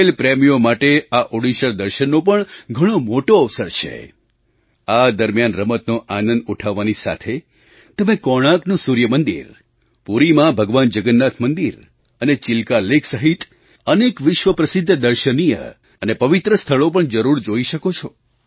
ખેલ પ્રેમીઓ માટે આ ઓડિશાદર્શનનો પણ ઘણો મોટો અવસર છે આ દરમ્યાન રમતનો આનંદ ઉઠાવવાની સાથે તમે કોર્ણાકનું સૂર્ય મંદિર પુરીમાં ભગવાન જગન્નાથ મંદિર અને ચિલ્કા લૅક સહિત અનેક વિશ્વપ્રસિદ્ધ દર્શનીય અને પવિત્ર સ્થળો પણ જરૂર જોઈ શકો છો